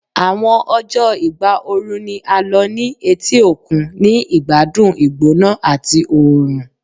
Awọn ọjọ igba ooru ni a lo ni eti okun, ni igbadun igbona ati oorun